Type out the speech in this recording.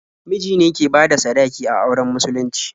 Miji ne ke bada sadaki a auren musulunci.